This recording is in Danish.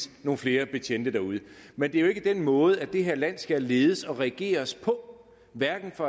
nogle flere betjente derude men det er jo ikke den måde det her land skal ledes og regeres på hverken af